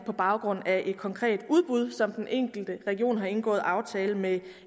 på baggrund af et konkret udbud som den enkelte region har indgået en aftale med